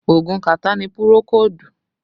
Oogun kàtá ni pùròkódù